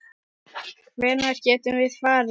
Hvenær getum við farið?